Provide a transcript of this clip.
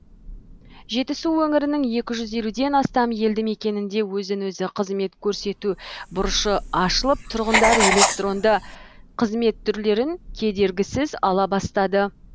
жетісу өңірінің екі жүз елуден астам елді мекенінде өзін өзі қызмет көрсету бұрышы ашылып тұрғындар электронды қызмет түрлерін кедергісіз ала бастады